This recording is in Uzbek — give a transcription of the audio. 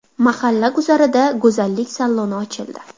Mahalla guzarida go‘zallik saloni ochildi.